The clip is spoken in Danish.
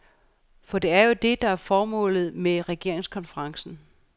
For det er jo det, der er formålet med regeringskonferencen.